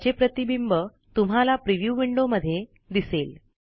त्याचे प्रतिबिंब तुम्हाला प्रिव्ह्यू विंडो मध्ये दिसेल